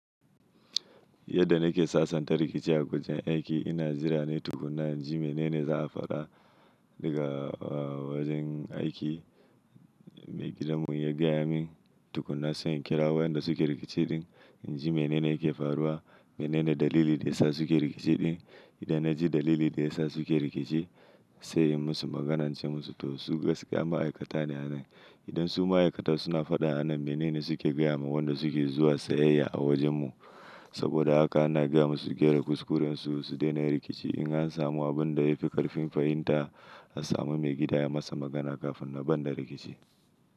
Yadda nake sasanta rikici a kujen aiki ina jirane tukuna, in ji menene za a faɗa daga wajen aiki, maigidan mu ya gaya min tukuna sai in kira wayanda suke rikici, ɗin in ji menene yake faruwa, menene dalili da ya sa suke rikici ɗin, idan na ji dalili da ya sa suke rikici sai in musu maganince musu to su ga ski ya ma'aikata ne a nan. Idan su ma'aikata suna faɗa a nan menene suke gaya ma wanda suke zuwa sayayya a wajen mu. Saboda haka ana gaya musu su gyara kuskuren su, su daina rikici in an samu abin da ya fi ƙarfin fahimta a samu mai gida ya masa magana kafin na ban da rikici.